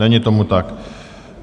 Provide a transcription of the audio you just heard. Není tomu tak.